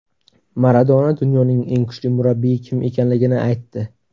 Maradona dunyoning eng kuchli murabbiyi kim ekanligini aytdi.